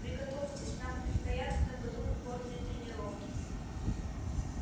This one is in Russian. приготовьтесь нам предстоят в этом году упорные тренировки